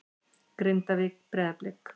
Grindavík- Breiðablik